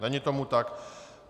Není tomu tak.